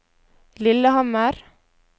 Lillehammer